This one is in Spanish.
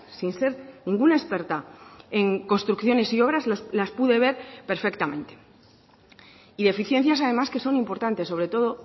sin ser ninguna experta en construcciones y obras las pude ver perfectamente y deficiencias además que son importantes sobre todo